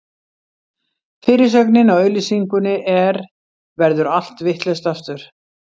Fyrirsögnin á auglýsingunni er: Verður allt vitlaust, aftur?